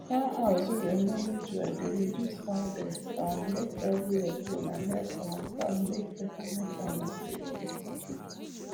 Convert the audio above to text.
fowl house wey dem manage well dey reduce fowl death um make everywhere clean and help um farm make better money on a steady